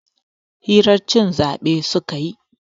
hirar cin zabe suke yi